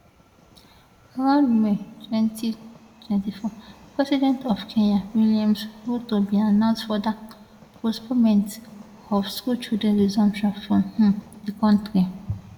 around may twenty twenty four president of kenya williams ruto bin announce further postponement of school children resumption for um di kontri